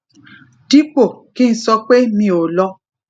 dípò ki n sope mi ò lo